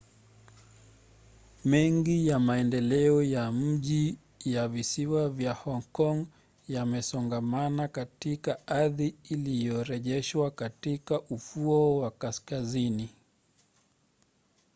mengi ya maendeleo ya mji ya visiwa vya hong kong yamesongamana katika ardhi iliyorejeshwa katika ufuo wa kaskazini